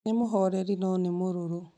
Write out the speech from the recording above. Nĩ mũhoreri no nĩ mũrũrũ